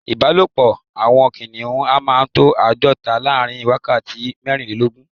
Ìbálòpọ́ àwọn kìnìhún a máa tó àádọ́ta láàrin wákàtí mẹ́rìnlélógún.